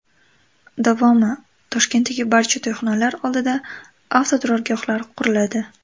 Davomi: Toshkentdagi barcha to‘yxonalar oldida avtoturargohlar quriladi.